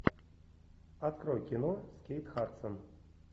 открой кино с кейт хадсон